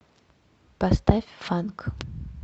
поставь фанк